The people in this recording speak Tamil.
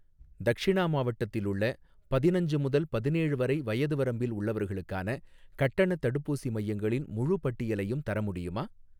தக்ஷிணா மாவட்டத்தில் உள்ள, பதினஞ்சு முதல் பதினேழு வரை வயது வரம்பில் உள்ளவர்களுக்கான கட்டணத் தடுப்பூசி மையங்களின் முழுப் பட்டியலையும் தர முடியுமா?